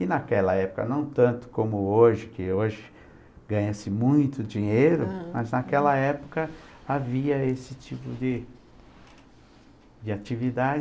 E naquela época, não tanto como hoje, que hoje ganha-se muito dinheiro, mas naquela época havia esse tipo de de atividade.